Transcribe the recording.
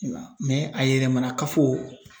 a yɛlɛmana kafo